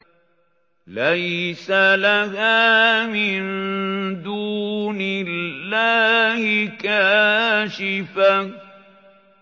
لَيْسَ لَهَا مِن دُونِ اللَّهِ كَاشِفَةٌ